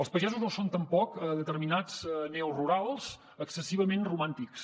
els pagesos no són tampoc determinats neorurals excessivament romàntics